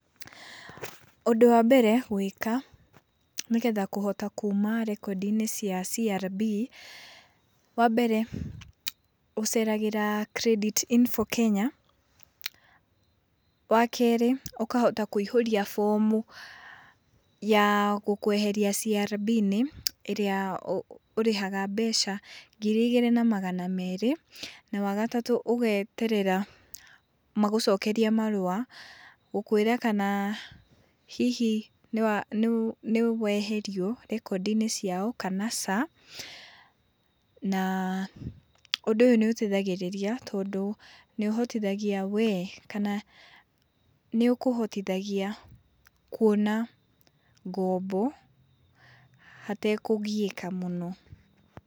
Ũndũ wa mbere gwĩka nĩgetha kũhota kuma rekondi-inĩ cia CRB, wa mbere ũceragĩra Creditinfo Kenya. Wakerĩ, ũkahota kũihũria bomu ya gũkweheria CRB-inĩ ĩrĩa ũrĩhaga mbeca ngiri igĩrĩ na magana merĩ. Na wa gatatũ, ũgeterera magũcokerie marũa gũkwĩra kana hihi nĩweherio rekondi-inĩ ciao, kana ca, na ũndũ ũyũ nĩũteithagĩrĩria, tondũ nĩũhotithagia wee kana nĩũkũhotithagia kuona ngombo hatekũgiĩka mũno.